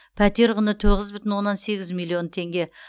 пәтер құны тоғыз бүтін оннан сегіз миллион теңге